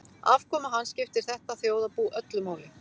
Afkoma hans skiptir þetta þjóðarbú öllu máli.